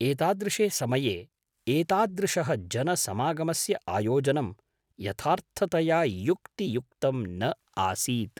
एतादृशे समये एतादृशः जनसमागमस्य आयोजनं यथार्थतया युक्तियुक्तं न आसीत्।